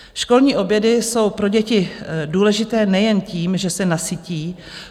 Školní obědy jsou pro děti důležité nejen tím, že se nasytí.